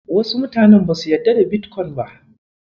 Wasu mutanen basu yarda da Bitcoin ba.